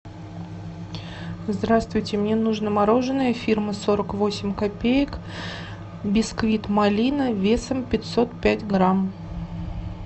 здравствуйте мне нужно мороженое фирмы сорок восемь копеек бисквит малина весом пятьсот пять грамм